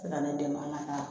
Na ni den ma